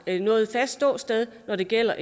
har noget fast ståsted når det gælder